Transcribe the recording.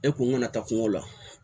E kun kana taa kungo la